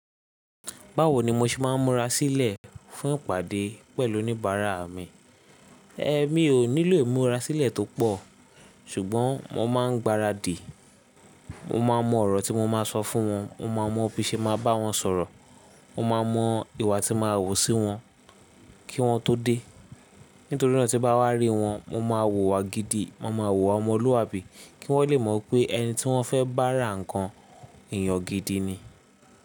Báwo ni mo ṣe máa ń múra sílẹ̀ fún ìpàdé pẹ̀lú oníbàárà mi? Ẹ̀mi ò nílò múra sílẹ̀ tó pọ̀, ṣùgbọ́n mo máa ń gbaradìì. Mo máa mọ ọ̀rọ̀ tí mo máa sọ fún wọn, mo máa mọ bí ṣe máa bá wọn sọ̀rọ̀, mo máa mọ ìwà tí màá wò sí wọn kí wọ́n tó dé. Nítorí náà tí bá wá rí wọn, mo máa wùwà gidi, mo máa wùwà ọmọlúwàbí kí wọ́n lè mọ̀ pé ẹni tí wọ́n fẹ́ bá ra nǹkan èèyàn gidi ni.